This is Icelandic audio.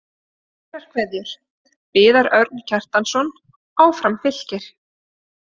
Kærar kveðjur, Viðar Örn Kjartansson Áfram Fylkir